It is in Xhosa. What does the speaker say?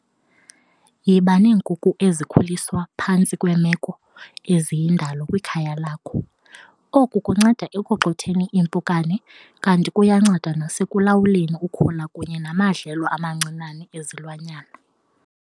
Yiba neenkuku ezikhuliswa phantsi kweemeko eziyindalo kwikhaya lakho. Oku kunceda ekugxotheni iimpukane kanti kuyanceda nasekulawuleni ukhula kunye namadlelo amancinane ezilwanyana.